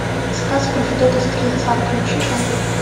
сказ про федота стрельца включи ка